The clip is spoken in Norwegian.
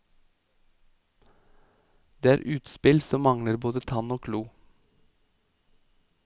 Det er utspill som mangler både tann og klo.